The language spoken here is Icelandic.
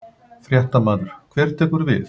Fréttamaður: Hver tekur við?